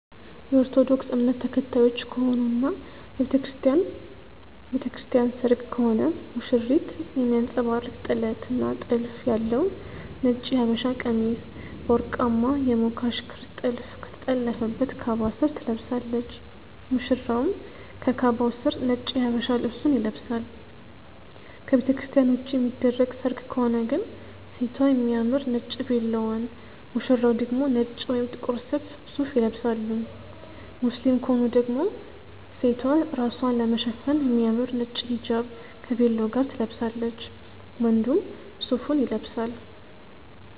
የኦርቶዶክስ እምነት ተከታዮች ከሆኑ እና የቤተክርስቲያን ቤተክርስቲያን ሰርግ ከሆነ ሙሽሪት የሚያንጸባርቅ ጥለት እና ጥልፍ ያለው ነጭ የሃበሻቀሚስ በወርቃማ የሞካሽ ክር ጥልፍ ከተጠለፈበት ካባ ስር ትለብሳለች፣ ሙሽራውም ከካባው ስር ነጭ የሃበሻ ልብሱን ይለብሳል። ከቤተክርስትያን ውጪ የሚደረግ ሰርግ ከሆነ ግን ሴቷ የሚያምር ነጭ ቬሎዋን፣ ሙሽራው ደግሞ ነጭ ወይም ጥቁር ሱፍ ይለብሳሉ። ሙስሊም ከሆኑ ደግሞ ሴቷ ራስዋን ለመሸፈን የሚያምር ነጭ ሂጃብ ከቬሎ ጋር ትለብሳለች፣ ወንዱም ሱፉን ይለብሳል።